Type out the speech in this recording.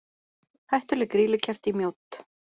Hættuleg grýlukerti í Mjódd